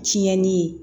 Tiɲɛni ye